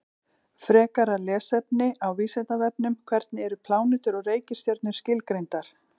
Engum kom til hugar að fara að sofa fyrr en fréttist af Manga.